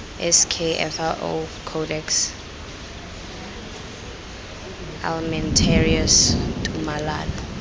sk fao codex almentarius tumalano